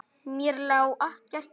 Mér lá ekkert á.